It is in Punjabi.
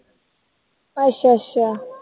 ਅੱਛਾ ਅੱਛਾ